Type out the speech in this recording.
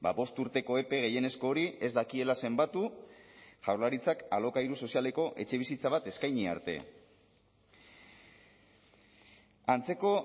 bost urteko epe gehienezko hori ez dakiela zenbatu jaurlaritzak alokairu sozialeko etxebizitza bat eskaini arte antzeko